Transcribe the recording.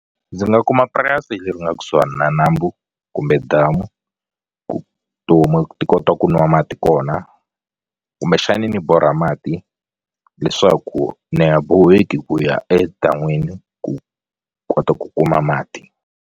Ndzi nga kuma purasi leri nga kusuhani na nambu kumbe damu ku tihomu ti kota ku nwa mati kona kumbexani ni borha mati leswaku ni ha boheki ku ya edan'wini ku kota ku kuma mati.